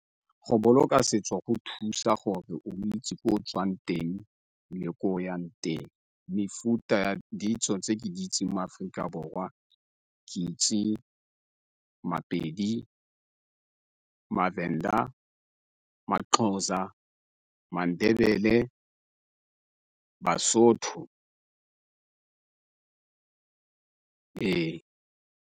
Go boloka setso go thusa gore o itse ko o tswang teng le ko o yang teng, mefuta ditso tse ke di itseng mo Aforika Borwa ke itse maPedi, maVenda, maXhosa, maNdebele, baSotho ee.